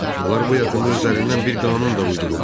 Onlar bu yaxında özlərindən bir qanun da uydurublar.